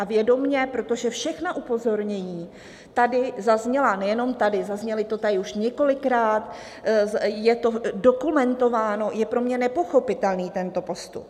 A vědomě, protože všechna upozornění tady zazněla, nejenom tady, zaznělo to tady už několikrát, je to dokumentováno, je pro mě nepochopitelný tento postup.